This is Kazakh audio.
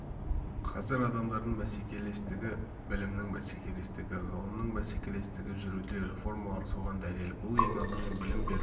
қазір адамдардың бәсекелестігі білімнің бәсекелестігі ғылымның бәсекелестігі жүруде реформалар соған дәлел бұл ең алдымен білім беру